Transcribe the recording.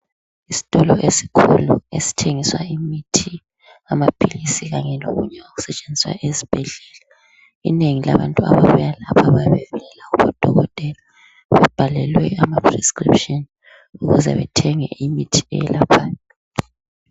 Isitolo esikhulu esithengisa imithi ikakhulu lamaphilizi kanye lokunye okusetshenziswa ezibhedlela inengi labantu ababuya lapha bayabe belayelwe ngoodokotela bebhalelwe ama prescription ukuze bethenge imitii eyelaphayo